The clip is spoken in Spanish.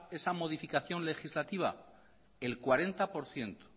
esa modificación legislativa